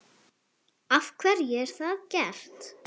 Af hverju er það gert?